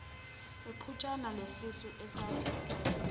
iqhutshana lesisu esase